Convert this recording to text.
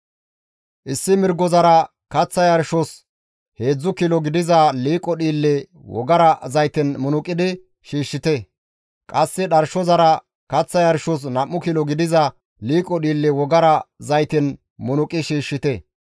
Issi mirgozara kaththa yarshos heedzdzu kilo gidiza liiqo dhiille wogara zayten munuqidi shiishshite; qasse dharshozara kaththa yarshos 2 kilo gidiza liiqo dhiille wogara zayten munuqi shiishshite.